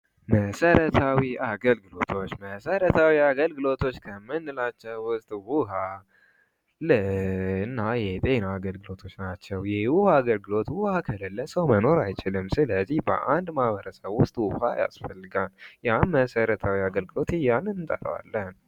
የሕግ አገልግሎት ለዜጎች ፍትሃዊ በሆነ መንገድ ፍትሕ የማግኘት መብታቸውን የሚያረጋግጥ መሠረታዊ አገልግሎት ነው